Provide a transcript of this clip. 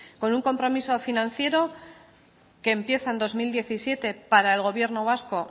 con un compromiso financiero que empieza en dos mil diecisiete para el gobierno vasco